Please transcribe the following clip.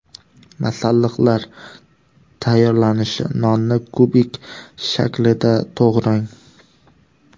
Masalliqlar: Tayyorlanishi: Nonni kubik shaklida to‘g‘rang.